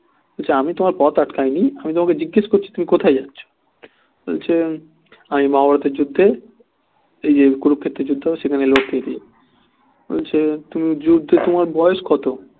বলছে আমি তোমার পথ আটকায় নি আমি তোমাকে জিজ্ঞেস করছি তুমি কোথায় যাচ্ছ বলছে আমি মহাভারতের যুদ্ধে এই যে কুরুক্ষেত্রের যুদ্ধ সেখানে লড়তে বলছে তুমি যুদ্ধ তোমার বয়স কত